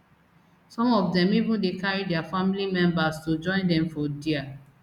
some of dem even dey carry dia family members to join dem for dia